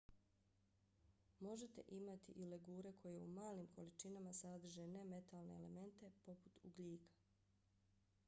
možete imati i legure koje u malim količinama sadrže nemetalne elemente poput ugljika